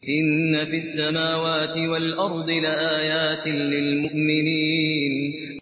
إِنَّ فِي السَّمَاوَاتِ وَالْأَرْضِ لَآيَاتٍ لِّلْمُؤْمِنِينَ